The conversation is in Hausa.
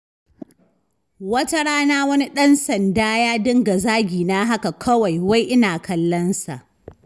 Wata rana wani ɗan sanda ya dinga zagina haka kawai, wai ina kallonsa.